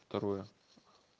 второе